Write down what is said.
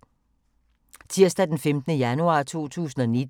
Tirsdag d. 15. januar 2019